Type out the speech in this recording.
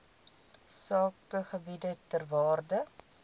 sakegebiede ter waarde